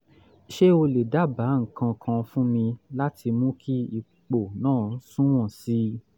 ṣé o lè dábàá nǹkan kan fún mi láti mú kí ipò náà sunwọ̀n sí i?